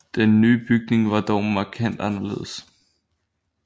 Den nye bygning var dog markant anderledes